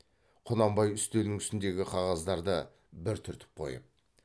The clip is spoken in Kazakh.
құнанбай үстел үстіндегі қағаздарды бір түртіп қойып